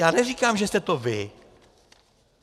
Já neříkám, že jste to vy.